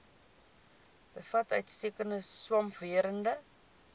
bevat uitstekende swamwerende